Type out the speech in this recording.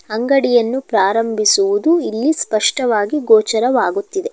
ಅಂಗಡಿಯನ್ನು ಪ್ರಾರಂಭಿಸುವುದು ಇಲ್ಲಿ ಸ್ಪಷ್ಟವಾಗಿ ಗೋಚರವಾಗುತ್ತಿದೆ.